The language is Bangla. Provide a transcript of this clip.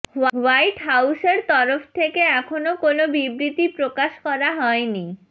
হোয়াইট হোউসের তরফ থেকে এখনও কোনও বিবৃতি প্রকাশ করা হয়নি